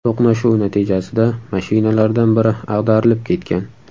To‘qnashuv natijasida mashinalardan biri ag‘darilib ketgan.